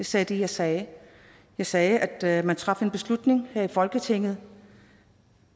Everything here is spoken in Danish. sagde det jeg sagde jeg sagde at man traf en beslutning her i folketinget